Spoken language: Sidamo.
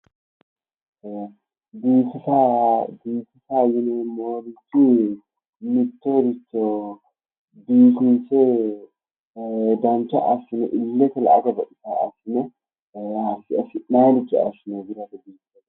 biifisa biifisa yineemmo wote mittoricho dancha assine illetenni la'ate baxisaa assine biifisate.